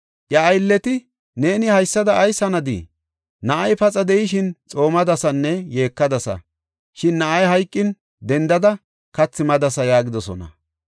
Iya aylleti, “Neeni haysada ayis hanadii? Na7ay paxa de7ishin xoomadasanne yeekadasa; shin na7ay hayqin dendada, kathi madasa” yaagidosona.